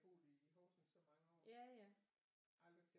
Har boet i Horsens i så mange år aldrig tænkt